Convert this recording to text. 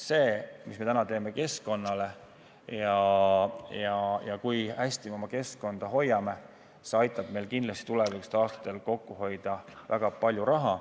See, mida me täna teeme keskkonnale, ja see, kui hästi me oma keskkonda hoiame, aitab meil kindlasti tulevastel aastatel kokku hoida väga palju raha.